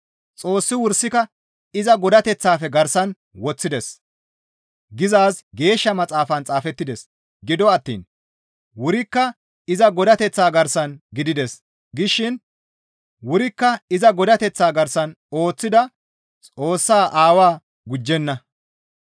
«Xoossi wursika iza godateththafe garsan woththides» gizaazi Geeshsha Maxaafan xaafettides; gido attiin, «Wurikka iza Godateththa garsan gidides» gishin wurikka iza godateththa garsan ooththida Xoossaa Aawaa gujjenna.